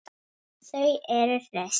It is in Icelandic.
Þau eru hraust